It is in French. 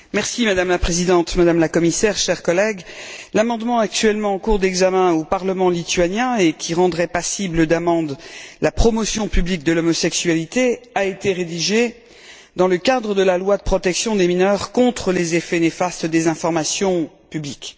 Madame la Présidente, Madame la Commissaire, chers collègues, l'amendement actuellement en cours d'examen au Parlement lituanien, et qui rendrait passible d'amendes la promotion publique de l'homosexualité, a été rédigé dans le cadre de la loi de protection des mineurs contre les effets néfastes des informations publiques.